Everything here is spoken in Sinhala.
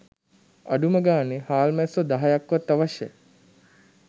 අඩුම ගණනේ හාල්මැස්සො දහයක්වත් අවශ්‍යයි